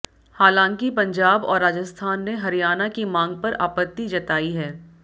हालांकि पंजाब और राजस्थान ने हरियाणा की मांग पर आपत्ति जतायी है